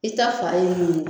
I ta fa ye min ye